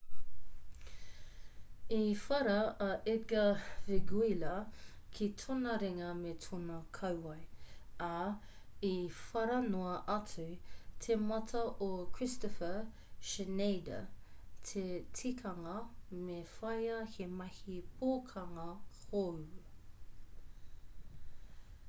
i whara a edgar veguilla ki tōna ringa me tōna kauae ā i whara noa atu te mata o kristoffer schneider te tikanga me whāia he mahi pokanga hou